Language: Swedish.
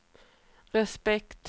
respekt